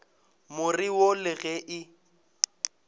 more wo le ge e